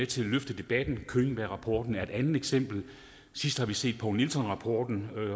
til at løfte debatten könbergrapporten er et andet eksempel sidst har vi set poul nielson rapporten